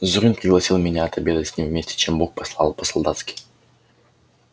зурин пригласил меня отобедать с ним вместе чем бог послал по-солдатски